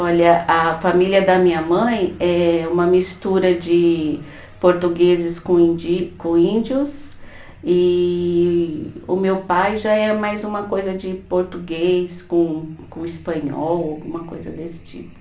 Olha, a família da minha mãe é uma mistura de portugueses com indi, com índios e o meu pai já é mais uma coisa de português com com espanhol, alguma coisa desse tipo.